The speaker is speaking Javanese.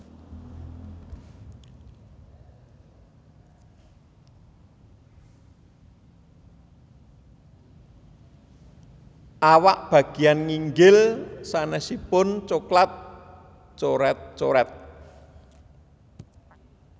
Awak bageyan nginggil sanésipun coklat coret coret